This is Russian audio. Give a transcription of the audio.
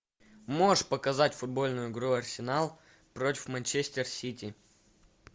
можешь показать футбольную игру арсенал против манчестер сити